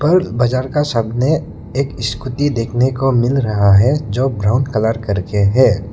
और बाजार का सामने एक स्कूटी देखने को मिल रहा है जो ब्राउन कलर करके है।